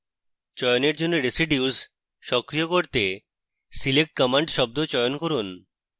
চয়নের জন্য residues সক্রিয় করতে select command শব্দ চয়ন করুন